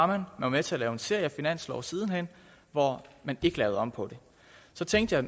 man var med til at lave en serie finanslove siden hen hvor man ikke lavede om på det så tænkte jeg